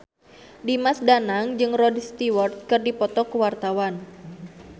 Dimas Danang jeung Rod Stewart keur dipoto ku wartawan